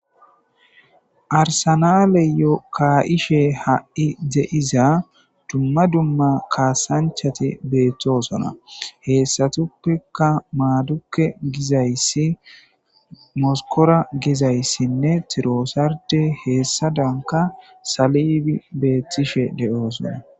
Arssenaleyo kaishshe hai deizza dumma dumma kassanchati bettosona hessatuppeka madukey giizayssi moskora gizayssine trosardde hessadanika salibi bettishe de'ossona.